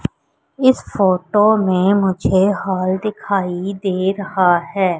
इस फोटो ने मुझे हॉल दिखाई दे रहा है।